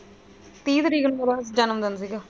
ਤੀਹ ਤਰੀਕ ਨੂੰ ਉਹਦਾ ਜਨਮ ਦਿਨ ਸੀ ਗਾ।